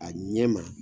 A ɲɛ ma